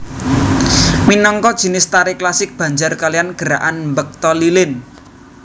Minangka jinis tari klasik Banjar kaliyan gerakan mbekta lilin